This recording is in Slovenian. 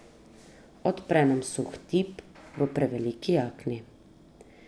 Odpre nama suh tip v preveliki jakni.